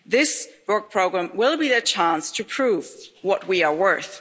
This work programme will be the chance to prove what we are worth.